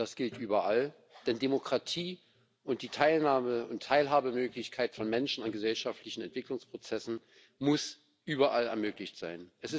Das gilt überall, denn Demokratie und die Teilnahme und Teilhabemöglichkeit von Menschen an gesellschaftlichen Entwicklungsprozessen muss überall möglich sein.